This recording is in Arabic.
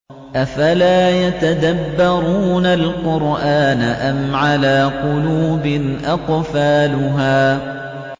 أَفَلَا يَتَدَبَّرُونَ الْقُرْآنَ أَمْ عَلَىٰ قُلُوبٍ أَقْفَالُهَا